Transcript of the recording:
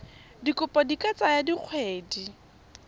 dikopo di ka tsaya dikgwedi